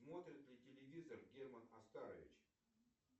смотрит ли телевизор герман оскарович